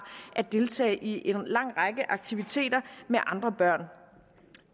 at deltage i en lang række aktiviteter med andre børn